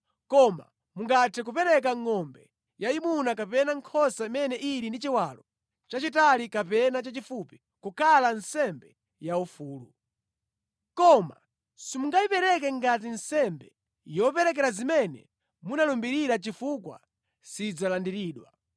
Koma mungathe kupereka ngʼombe yayimuna kapena nkhosa imene ili ndi chiwalo chachitali kapena chachifupi kukhala nsembe yaufulu. Koma simungayipereke ngati nsembe yoperekera zimene munalumbirira chifukwa sidzalandiridwa.